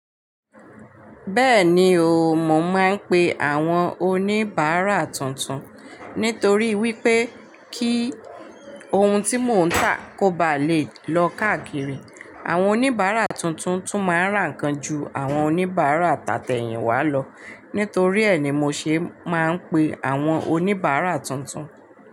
Bẹ́ẹ̀ni o, mo máa ń pe àwọn oníbàárà tuntun. Nítorí wípé kí ohun tí mò ń tà kó ba lè lọ káàkiri. Àwọn oníbàárà tuntun tún máa ń rà nǹkan ju àwọn oníbàárà tàtẹ̀yìnwá lọ. Nítorí ẹ́ ni mo ṣe máa ń pe àwọn oníbàárà tuntun.